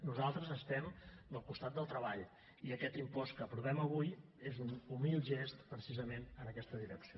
nosaltres estem del costat del treball i aquest impost que aprovem avui és un humil gest precisament en aquesta direcció